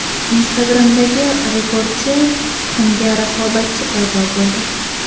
Instagram’dagi rekordchi tuxumga raqobatchi paydo bo‘ldi.